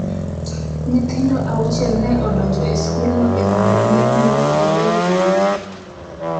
Nyithindo auchiel ne odonjo e skulno e rang’iny mopogore opogore.